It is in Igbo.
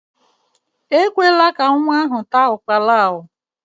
Ekwela ka nwa ahụ taa ukpara a!